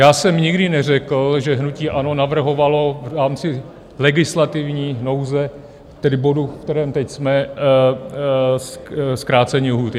Já jsem nikdy neřekl, že hnutí ANO navrhovalo v rámci legislativní nouze, tedy bodu, v kterém teď jsme, zkrácení lhůty.